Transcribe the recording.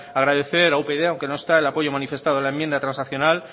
agradecer a upyd aunque no está el apoyo manifestado en la enmienda transaccional